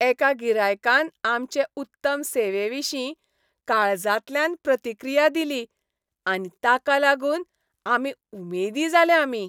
एका गिरायकान आमचे उत्तम सेवेविशीं काळजांतल्यान प्रतिक्रीया दिली आनी ताका लागून आमी उमेदी जाले आमी.